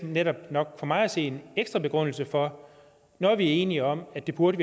netop nok for mig at se en ekstra begrundelse for når vi er enige om at vi burde